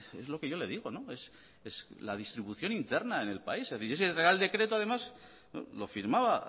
es lo que yo le digo es la distribución interna en el país ese real decreto además lo firmaba